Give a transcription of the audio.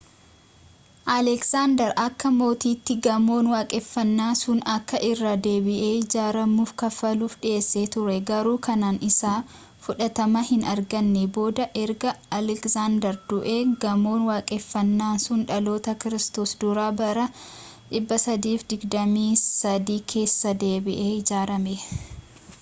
alegzaandar akka mootiitti gamoon waaqeffannaa sun akka irra-deebi'ee ijaaramuuf kaffaluuf dhiyeessee turee garuu kennaan isaa fudhatama hin arganne booda erga alegzaandar du'ee gamoon waaqeffannaa sun dhaloota kiristoos dura bara 323 keessa deebi'ee ijaarame